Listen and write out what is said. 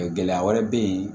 Gɛlɛya wɛrɛ bɛ yen